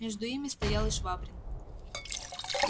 между ими стоял и швабрин